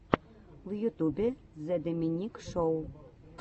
в ютубе зе доминик шоу